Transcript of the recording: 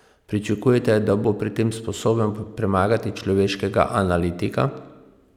Pričakujete, da bo pri tem sposoben premagati človeškega analitika?